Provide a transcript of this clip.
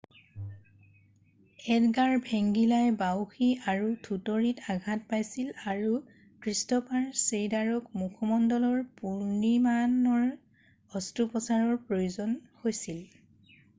Edgar ভেংগিলাই বাউসী আৰু থুতৰিত আঘাত পাইছিল আৰু ক্ৰিষ্ট'ফাৰ চেইডাৰক মুখমণ্ডলৰ পুনৰ্নিমাণৰ অস্ত্ৰোপচাৰৰ প্ৰয়োজন হৈছিল